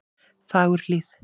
Fagurhlíð